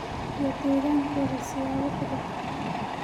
iyo deegaankooda siyaabo kala duwan.